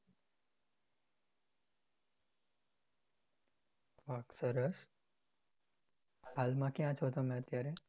વાહ સરસ હાલ માં ક્યા છો તમે અત્યારે